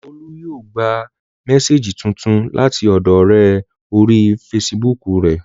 Olú yóò gba mésèjì tuntun láti ọ̀dọọ ọ̀rẹ́ orí fesibúùkù rẹ̀